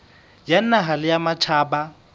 ya naha le ya matjhaba